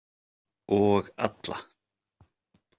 Og alla.